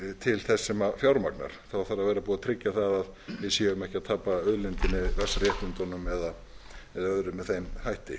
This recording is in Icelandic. til þess sem fjármagnar þá þarf að vera búið að tryggja það að við séum ekki að tapa auðlindinni vatnsréttindunum eða öðru með þeim hætti